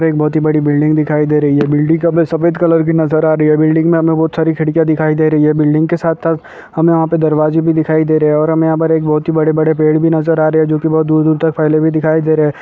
यहाँ पर एक बहुत बड़ी बिल्डिंग दिखाई दे रही है बिल्डिंग काफी सफेद कलर की नजर आ रही है बिल्डिंग मे हमें बहुत सारी खिड़कियां दिखाई दे रही है बिल्डिंग के साथ साथ हमें वह पे दरवाजे भी दिखाई दे रहे हैं और हमें यहाँ पर एक बहुत बड़े बड़े पेड़ भी नजर आ रहे जो की बहुत दूर दूर तक फैले दिखाई--